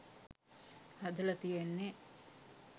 හදලා තියෙන්නේ.